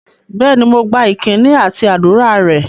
Bẹ́ẹ̀ni, mo gba ìkíni àti ádùrá rẹ̀